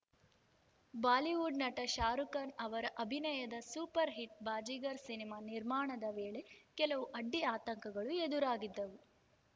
Bollywood ನಟ ಶಾರುಖ್‌ ಖಾನ್‌ ಅವರ ಅಭಿನಯದ ಸೂಪರ್‌ ಹಿಟ್‌ ಬಾಜಿಗರ್‌ ಸಿನಿಮಾ ನಿರ್ಮಾಣದ ವೇಳೆ ಕೆಲವು ಅಡ್ಡಿ ಆತಂಕಗಳು ಎದುರಾಗಿದ್ದವು